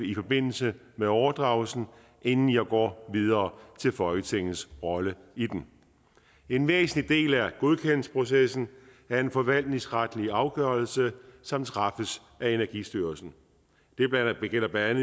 i forbindelse med overdragelsen inden jeg går videre til folketingets rolle i den en væsentlig del af godkendelsesprocessen er en forvaltningsretlig afgørelse som træffes af energistyrelsen det gælder blandt